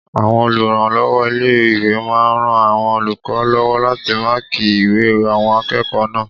Àwọn olùrànlọ́wọ́ ilé-ìwé máa n ran àwọn olùkọ́ lọ́wọ́ láti máàkí ìwé àwọn akẹ́kọ̀ọ́ náà